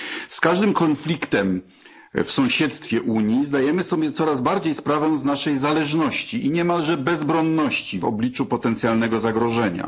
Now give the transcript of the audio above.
Z każdym konfliktem w sąsiedztwie Unii zdajemy sobie coraz bardziej sprawę z naszej zależności i niemalże bezbronności w obliczu potencjalnego zagrożenia.